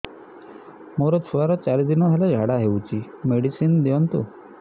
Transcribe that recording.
ମୋର ଛୁଆର ଚାରି ଦିନ ହେଲା ଝାଡା ହଉଚି ମେଡିସିନ ଦିଅନ୍ତୁ